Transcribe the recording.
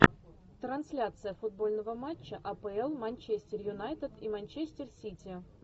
трансляция футбольного матча апл манчестер юнайтед и манчестер сити